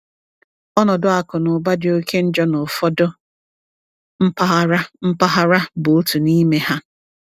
Ọnọdụ akụ na ụba dị oke njọ n’ụfọdụ mpaghara mpaghara bụ otu n’ime ha.